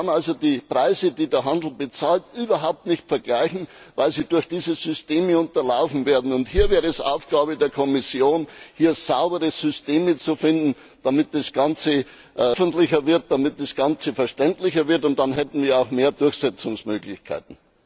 Man kann also die Preise, die der Handel bezahlt, überhaupt nicht vergleichen, weil sie durch diese Systeme unterlaufen werden. Hier wäre es Aufgabe der Kommission, saubere Systeme zu finden, damit das Ganze öffentlicher wird, damit das Ganze verständlicher wird. Dann hätten wir auch mehr Durchsetzungsmöglichkeiten.